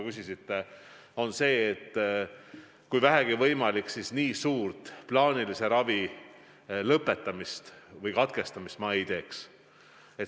See on see, et kui vähegi võimalik, siis nii suurt plaanilise ravi lõpetamist või katkestamist ma ei teeks.